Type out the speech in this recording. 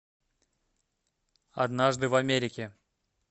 однажды в америке